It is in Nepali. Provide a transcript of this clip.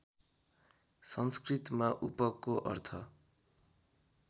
संस्कृतमा उपको अर्थ